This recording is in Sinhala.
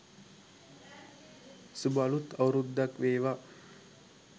suba aluth awuruddak wewa